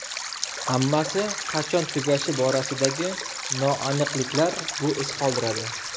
Hammasi qachon tugashi borasidagi noaniqliklar bu iz qoldiradi.